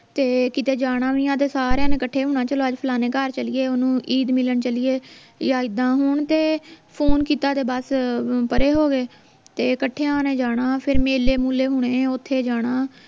ਤੇ ਕਿਤੇ ਜਾਣਾ ਵੀ ਆ ਤਾਂ ਸਾਰੀਆਂ ਨੇ ਕੱਠੇ ਹੋਣਾ ਚੱਲੋ ਅੱਜ ਫਲਾਣੀਆਂ ਘਰ ਚੱਲੀਏ ਓਹਨੂੰ ਈਦ ਮਿਲਣ ਚੱਲੀਏ ਆ ਇੱਦਾਂ ਹੁਣ ਤੇ ਫੋਨ ਕੀਤਾ ਤੇ ਬਸ ਪਰੇ ਹੋਵੇ ਤੇ ਕੱਠਿਆਂ ਨੇ ਜਾਣਾ ਫੇਰ ਮੇਲੇ ਮੁਲੇ ਹੋਣੇ ਓਥੇ ਜਾਣਾ